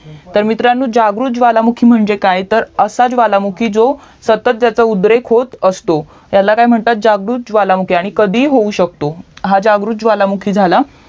तर मित्रांनो जागृत ज्वालामुखी म्हणजे काय तर असा ज्वालामुखी जो सतत त्याचा उद्रेक होत असतो त्याला काय म्हणतात जागृत ज्वालामुखी आणि कधीही होऊ शकतो हा जागृत ज्वालामुखी झाला